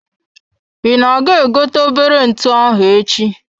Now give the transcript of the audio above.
I na-aga I gote obere ntụ echi?